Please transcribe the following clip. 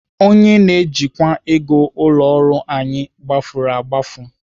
Onye na-ejikwa ego ụlọ ọrụ anyị gbafuru agbafu.